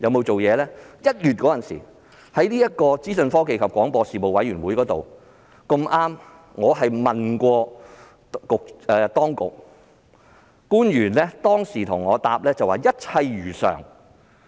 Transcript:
在1月時的資訊科技及廣播事務委員會會議上，我已向當局提出質詢，當時官員的答覆是"一切如常"。